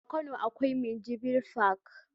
A kano akwai minjibir fak